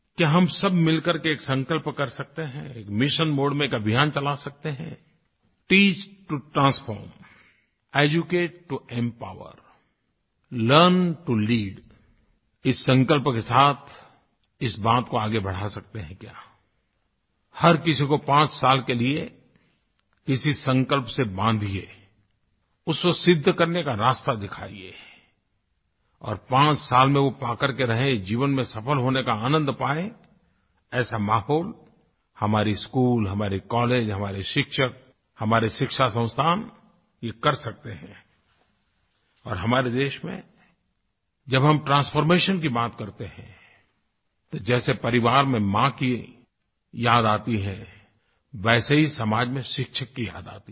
क्या हम सब मिलकर के एक संकल्प कर सकते हैं एक मिशन मोडे में एक अभियान चला सकते हैं teach to transform educate to empower learn to lead इस संकल्प के साथ इस बात को आगे बढ़ा सकते हैं क्या हर किसी को 5 साल के लिए किसी संकल्प से बांधिए उसे सिद्ध करने का रास्ता दिखाइये और 5 साल में वो पाकर के रहे जीवन में सफ़ल होने का आनंद पाये ऐसा माहौल हमारे स्कूल हमारे कॉलेज हमारे शिक्षक हमारे शिक्षा संस्थान ये कर सकते हैं और हमारे देश में जब हम ट्रांसफॉर्मेशन की बात करते हैं तो जैसे परिवार में माँ की याद आती है वैसे ही समाज में शिक्षक की याद आती है